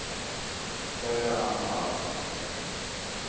Kæra amma Ása.